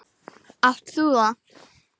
Átt þú það?